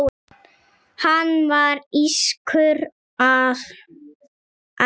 Hann var írskur að ætt.